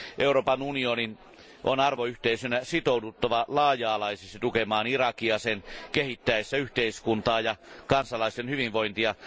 Euroopan unionin on arvoyhteisönä sitouduttava laaja alaisesti tukemaan Irakia sen kehittäessä yhteiskuntaa ja kansalaisten hyvinvointia.